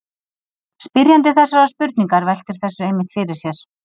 Spyrjandi þessarar spurningar veltir þessu einmitt fyrir sér.